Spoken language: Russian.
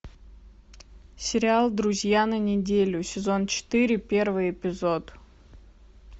сериал друзья на неделю сезон четыре первый эпизод